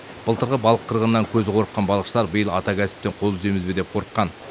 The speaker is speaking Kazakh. былтырғы балық қырғынынан көзі қорыққан балықшылар биыл ата кәсіптен қол үземіз бе деп қорыққан